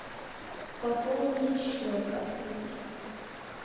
пополнить счет открыть